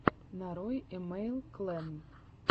нарой имэйл клэн